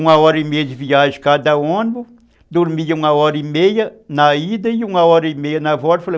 Uma hora e meia de viagem cada ônibus, dormia uma hora e meia na ida e uma hora e meia na volta.